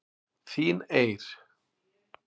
Þín Eir.